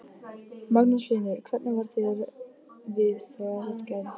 Magnús Hlynur: Hvernig varð þér við þegar þetta gerðist?